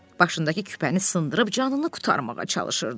Başındakı küpəni sındırıb canını qurtarmağa çalışırdı.